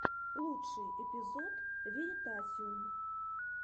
лучший эпизод веритасиум